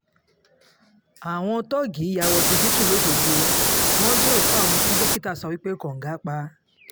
àwọn tóógi ya wọ ọsibítù lọ́ṣọ́gbó wọn gbé òkú àwọn tí dókítà sọ pé kóńgá pa